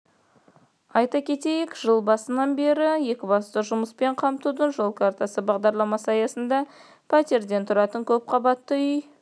айта кетейік жыл басынан бері екібастұзда жұмыспен қамтудың жол картасы бағдарламасы аясында пәтерден тұратын көпқабатты үй